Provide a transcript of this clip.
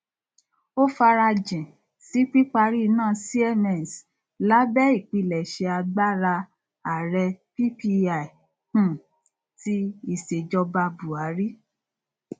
ó farajìn sí píparí iná siemens lábẹ ìpilẹṣẹ agbára ààrẹ ppi um ti ìsèjọba buhari